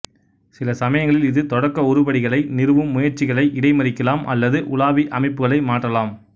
சில சமயங்களில் இது தொடக்க உருப்படிகளை நிறுவும் முயற்சிகளை இடைமறிக்கலாம் அல்லது உலாவி அமைப்புகளை மாற்றலாம்